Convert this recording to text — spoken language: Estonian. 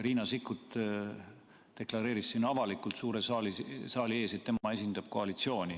Riina Sikkut deklareeris siin avalikult suure saali ees, et tema esindab koalitsiooni.